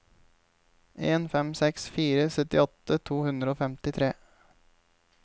en fem seks fire syttiåtte to hundre og femtitre